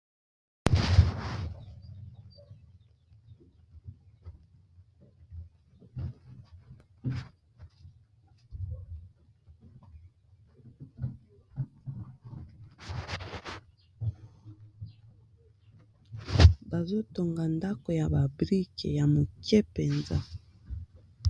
Bazotonga ndako ya ba brike ya moke mpenza.